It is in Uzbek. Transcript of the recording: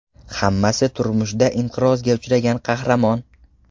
Hammasi turmushda inqirozga uchragan qahramon.